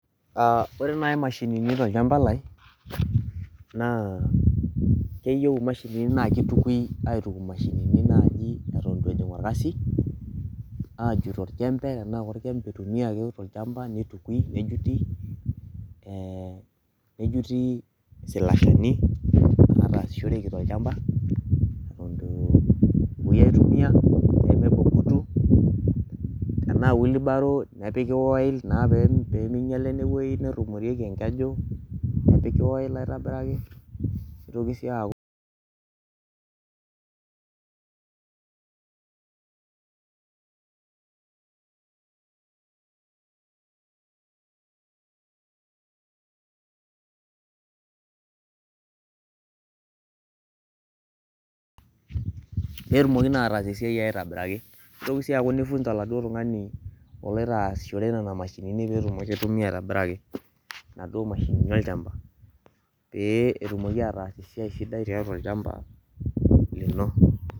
Oree nayii imashinini tolchampa lai naa keyieu imasinini naa keitukui aituk imashinini nayii eton ito ejing orkasi, aajut olchempe tenaa olchempe eitumiaki tolchampa neitukui, nejuti isilashini naatasishoreki tolchampa eton etu epuoi ai tumia peemibung' kutu tenaa wheelbarrow nepiki waell naa peeminyala inewei netumoreki enkeju nepiki wiell aitobiraki neitoki sii ayaku peetumoki naa aatas esiai aitobiraki neitoki sii ayaku nii funza oladuo tung'ani oloito aasishore nena mashinini peetumoki ai tumia aitobiraki inaduo mashinini olchampa pee etumoki ataas esiai sidai tiatu olchampa lino.